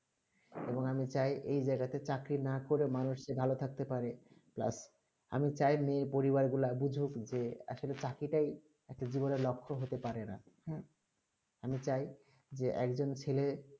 এবং আমি চাই এই জায়গা তে চাকরি না করে মানুষ রা ভালো করে থাকতে পারে plus আমি চাই নি পরিবার গুলু বুঝুক যে আসলে চাকরি তা ই একটা জীবন লক্ষ হতে পারে না হেঁ আমি চাই যে এক জন ছেলে